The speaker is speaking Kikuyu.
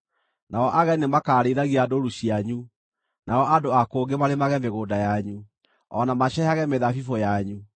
Nao ageni nĩmakarĩithagia ndũũru cianyu; nao andũ a kũngĩ marĩmage mĩgũnda yanyu, o na maceehage mĩthabibũ yanyu.